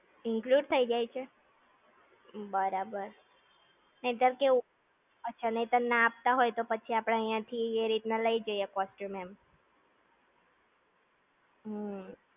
include થઇ જાય છે? બરાબર. નહીંતર કેવું? અચ્છા નહીંતર ના આપતા હોય તો પછી આપણે અહીંયા થી એ રીતના લઇ જૉઈએ costume એમ.